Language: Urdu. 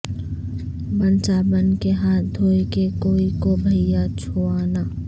بن صابن کے ہاتھ دھوئے کے کوئی کو بھیا چھوو نہ